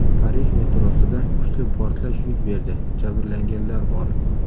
Parij metrosida kuchli portlash yuz berdi, jabrlanganlar bor.